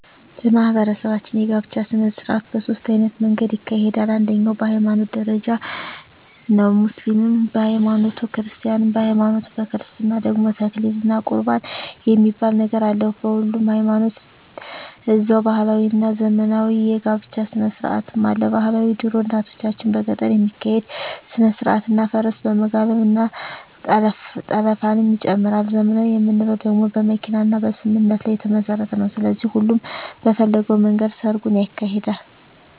በማህበረሰባችን የጋብቻ ሰነስርአት በ ሶስት አይነት መንገድ ይካሄዳል አንደኛዉ በ ሀይማኖት ደረጃ ነዉ ሙስሊምም በ ሀይማኖቱ ክርስቲያንም በሀይማኖቱ በክርስትና ደግሞ ተክሊል እና ቁርባን የሚባል ነገር አለ በሁሉም ሀይማኖት ደዛዉ ባህላዊ እና ዘመናዊ የ ጋብቻ ስነስርአትም አለ ...ባህላዊ ድሮ እናቶቻችን በገጠር የሚካሄድ ስነስርአት እና ፈረስ በመጋለብ እና ጠለፍንም ይጨምራል .........ዘመናዊ የምንለዉ ደግሞ በመኪና እና በስምምነት ላይ የተመስረተ ነዉ ስለዚህ ሁሉም በፈለገዉ መንገድ ሰርጉን ያካሂዳል።